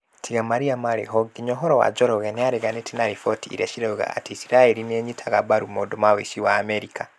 Tiga marĩa marĩ ho nginya uhoro wa Njoroge nĩ areganĩte na riboti iria cirauga atĩ Isiraeli nĩ ĩnyitaga mbaru maũndũ ma ũici wa Amerika.